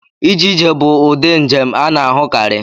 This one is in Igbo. Ije ije bụ ụdị njem a na-ahụkarị.